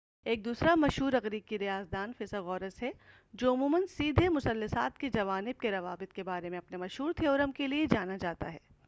ایک دوسرا مشہور إغریقی ریاضی داں فیثاغورس ہے جو عموماً سیدھے مثلثات کے جوانب کے روابط کے بارے میں اپنے مشہور تھیورم کے لئے جانا جاتا ہے۔